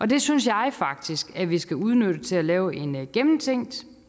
det synes jeg faktisk vi skal udnytte til at lave en gennemtænkt